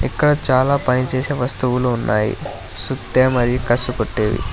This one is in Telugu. ఇక్కడ చాలా పని చేసే వస్తువులు ఉన్నాయి సుత్తి మరి కసు కొట్టేవి.